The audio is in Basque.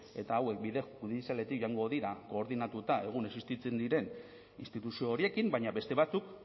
eta hauek bide judizialetik joango dira koordinatuta egun existitzen diren instituzio horiekin baina beste batzuk